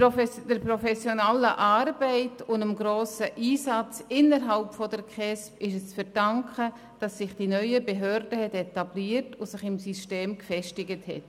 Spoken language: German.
Der professionellen Arbeit und dem grossen Einsatz innerhalb der KESB ist es zu verdanken, dass sich die neuen Behörden etabliert haben und sich das System gefestigt hat.